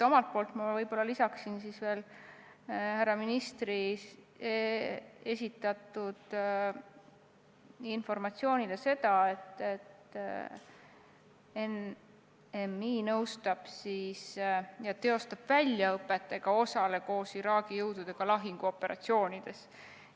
Omalt poolt lisaksin härra ministri esitatud informatsioonile seda, et NMI nõustab ja teostab väljaõppet ega osale koos Iraagi jõududega lahinguoperatsioonides.